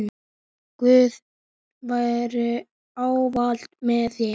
Guð veri ávallt með þér.